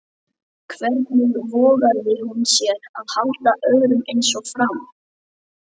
Hvernig vogaði hún sér að halda öðru eins fram?